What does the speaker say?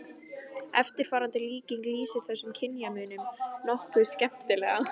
Eftirfarandi líking lýsir þessum kynjamun nokkuð skemmtilega